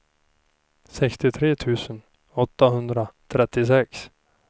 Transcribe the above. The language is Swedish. sextiotre tusen åttahundratrettiosex